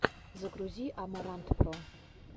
загрузи амарантпро